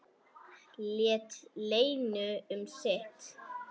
Lét Lenu um sitt.